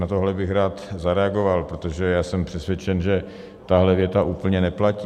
Na tohle bych rád zareagoval, protože já jsem přesvědčen, že tahle věta úplně neplatí.